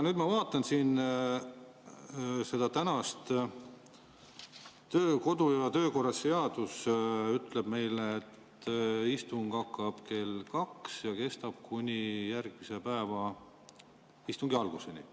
Ma vaatan siin kodu- ja töökorra seadust, mis ütleb meile, et istung hakkab kell 14 ja kestab kuni järgmise päeva istungi alguseni.